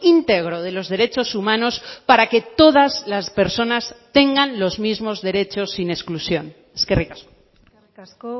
íntegro de los derechos humanos para que todas las personas tengan los mismos derechos sin exclusión eskerrik asko eskerrik asko